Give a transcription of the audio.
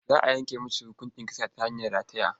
Za a yanke masa hukuncin kisa ta hanyar rataya.